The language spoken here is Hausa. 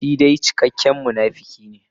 Shi dai cikakken munafuki ne.